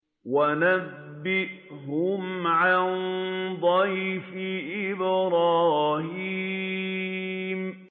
وَنَبِّئْهُمْ عَن ضَيْفِ إِبْرَاهِيمَ